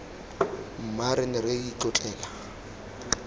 mma re ne re itlotlela